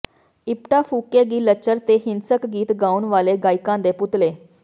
ਇਪਟਾ ਫੁਕੇਗੀ ਲੱਚਰ ਤੇ ਹਿੰਸਕ ਗੀਤ ਗਾਉਣ ਵਾਲੇ ਗਾਇਕਾਂ ਦੇ ਪੁਤਲੇ